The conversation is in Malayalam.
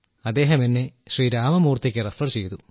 അദ്ദേഹം എന്നെ ശ്രീ രാമമൂർത്തിക്ക് റെഫർ ചെയ്തു